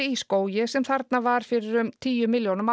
í skógi sem þarna var fyrir tíu milljónum